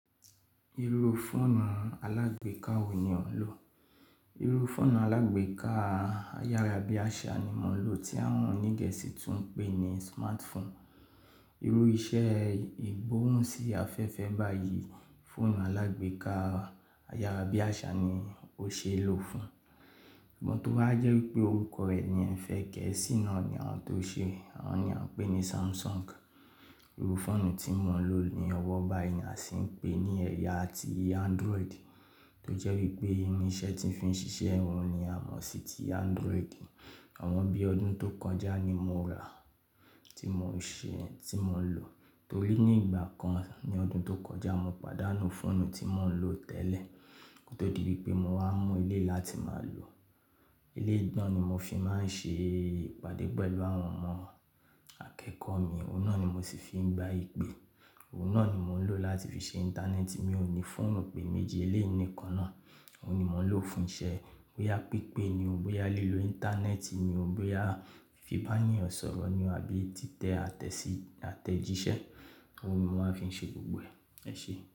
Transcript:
Irú fóònù alágbèéká wo ni ò ń lò? Irú fóònù alágbèéká ayárábiàṣá ni mò ń lò tí àwọn onígẹ́sì tún ń pè ní smartphone. Irú iṣẹ́ ìgbóhùn sí afẹ́fẹ́ báyìí, fóònù alágbèéká ayárábiàṣá ni ó ṣe é lò fún. But tó wá jẹ́ wípé orúkọ rẹ̀ ni Ẹfẹ gẹ́ẹ́sì náà ni àwón tó ṣe, òun ni à ń pè ní Samsung. Irú fóònù tí mò ń lò ní ọwọ́ báyìí ni a sì ń pè ní ẹ̀yà ti Android, tó jẹ́ wípé irú iṣẹ́ tí ń fi ń ṣiṣẹ́ òun ni a mọ̀ sí ti Android. Ọ̀wọ́n bí ọdún tó kọjá ni mo ra, tí mò ń ṣe, tí mò ń lò. Torí ní ìgbà kan ní ọdún tó kọjá mo pàdánù fóònù tí mò ń lò tẹ́lẹ̀, kó tó di wípé mo wá mú èléyi láti máa lò. Èléyi náà ni mo fi máa ń ṣe ìpàdé pẹ̀lú àwọn ọmọ akẹ́kọ̀ọ́ mi. Òun náà ni mo sì fi ń gbá ìpè. Òun náà ni mò ń lò láti fi ṣe Íńtánẹ́ẹ̀tì. Mi ò ní fóònù pé méji, èléyi níkan náà. Òun ni mò ń lò fún iṣẹ́ bóyá pípé ni ó, bóyá lílo Íńtánẹ́ẹ̀tì ni ó, bóyá fi bá ènìyàn sọ̀rọ̀ ni ó àbí títẹ àtẹ́sí àtẹ̀jíṣẹ́. Òun ni mo maá fi ń ṣe gbogbo ẹ̀. Ẹ ṣe.